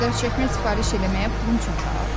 Mənim o qədər çəkmə sifariş eləməyə pulum çatar?